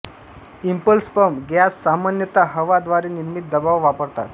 impulse pump gas सामान्यत हवा द्वारे निर्मित दबाव वापरतात